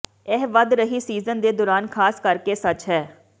ਇਹ ਵਧ ਰਹੀ ਸੀਜ਼ਨ ਦੇ ਦੌਰਾਨ ਖਾਸ ਕਰਕੇ ਸੱਚ ਹੈ